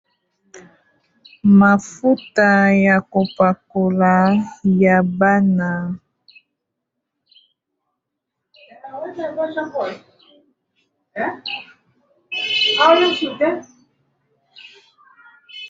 Mafuta ya kopakola ya bana.